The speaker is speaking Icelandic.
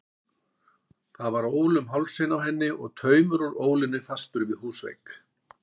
Það var ól um hálsinn á henni og taumur úr ólinni festur við húsvegg.